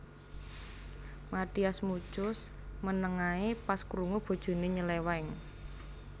Mathias Muchus meneng ae pas krungu bojone nyeleweng